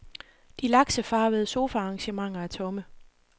De laksefarvede sofaarrangementer er tomme.